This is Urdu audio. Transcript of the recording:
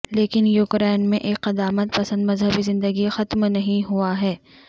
لیکن یوکرائن میں ایک قدامت پسند مذہبی زندگی ختم نہیں ہوا ہے